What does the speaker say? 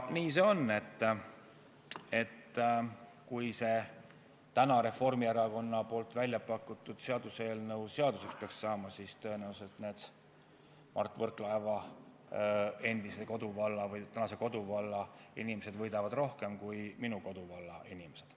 Nii see on, et kui see täna Reformierakonna pakutud seaduseelnõu seaduseks peaks saama, siis tõenäoliselt need Mart Võrklaeva endise või tänase koduvalla inimesed võidavad rohkem kui minu koduvalla inimesed.